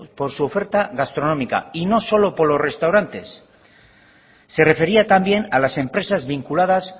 por su oferta gastronómica y no solo por los restaurantes se refería también a las empresas vinculadas